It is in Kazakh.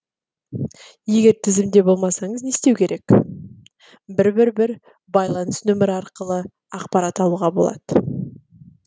егер тізімде болмасаңыз не істеу керек бір бір бір байланыс нөмірі арқылы ақпарат алуға болады